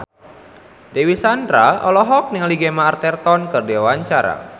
Dewi Sandra olohok ningali Gemma Arterton keur diwawancara